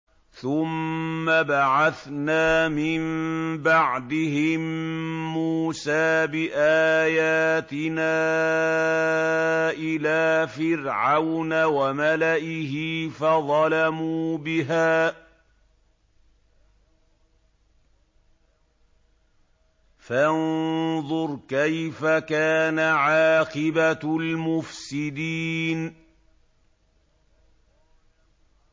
ثُمَّ بَعَثْنَا مِن بَعْدِهِم مُّوسَىٰ بِآيَاتِنَا إِلَىٰ فِرْعَوْنَ وَمَلَئِهِ فَظَلَمُوا بِهَا ۖ فَانظُرْ كَيْفَ كَانَ عَاقِبَةُ الْمُفْسِدِينَ